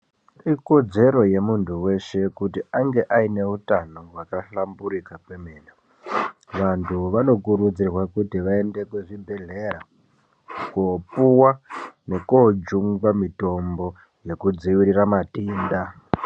Ikodzero yemuntu weshe kuiti ainge ane hutano hwakahlamburika kwemene, vantu vanokurudzirwa kuti vaende kuzvibhedhlera koopuwa nekoojungwa mitombo nekudzivirira matenda.